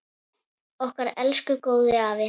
Okkar elsku góði afi!